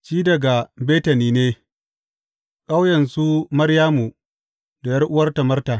Shi daga Betani ne, ƙauyen su Maryamu da ’yar’uwarta Marta.